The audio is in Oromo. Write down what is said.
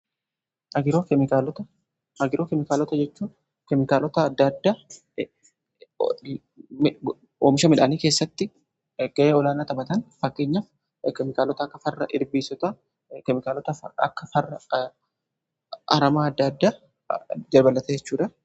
Agiroo keemikaalota jechuun keemikaalota adda addaa oomisha midhaanii keessatti ga'ee olaanaa taphatan, fakkeenyaaf keemikaalota akka farra ilbiisotaa, keemikaalota akka farra aramaa adda addaa dabalatee jechuudha.